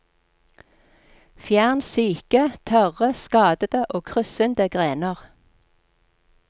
Fjern syke, tørre, skadede og kryssende grener.